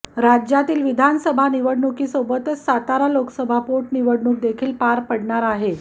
राज्यातील विधानसभा निवडणुकीसोबतच सातारा लोकसभा पोटनिवडणुक देखील पार पडणार आहे